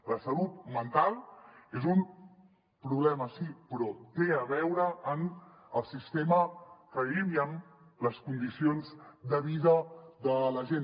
la salut mental és un problema sí però té a veure amb el sistema en què vivim i amb les condicions de vida de la gent